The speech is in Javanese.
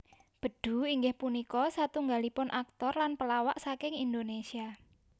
Bedu inggih punika satunggalipun aktor lan pelawak saking Indonesia